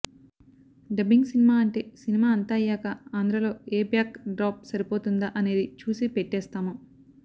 dubbing cinema అంటే cinema అంతా అయ్యాక ఆంధ్రలో ఏ బ్యాక్ డ్రాప్ సరిపోతుందా అనేది చూసి పెట్టేస్తాము